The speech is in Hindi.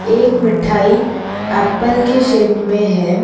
एक मिठाई एप्पल के शेप मे है।